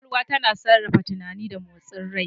Kwakwalwa tana sarrafa tunani da motsin rai.